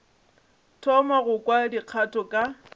thoma go kwa dikgato ka